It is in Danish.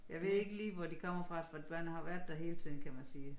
Jeg ved ikke lige hvor de kommer fra for børnene har været der hele tiden kan man sige